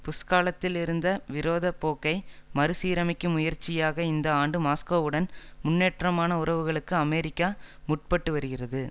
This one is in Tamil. புஷ் காலத்தில் இருந்த விரோத போக்கை மறு சீரமைக்கும் முயற்சியாக இந்த ஆண்டு மாஸ்கோவுடன் முன்னேற்றமான உறவுகளுக்கு அமெரிக்கா முற்பட்டு வருகிறது